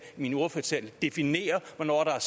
i min ordførertale definere hvornår der er